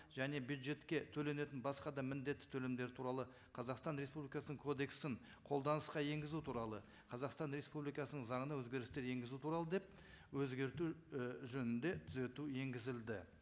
және бюджетке төленетін басқа да міндетті төлемдер туралы қазақстан республикасының кодексін қолданысқа енгізу туралы қазақстан республикасының заңына өзгерістер енгізу туралы деп өзгерту і жөнінде түзету енгізілді